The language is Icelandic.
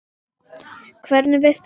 Hvernig veist þú það?